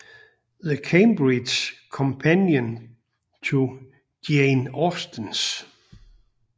The Cambridge Companion to Jane Austen